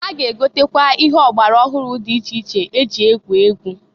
Ha ga-egotakwa ihe ọgbara ọhụrụ dị iche iche e ji egwu egwu.